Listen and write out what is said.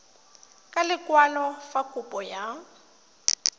ka lekwalo fa kopo ya